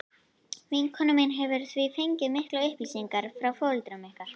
Vinkona mín hefur því fengið miklar upplýsingar frá foreldrum ykkar.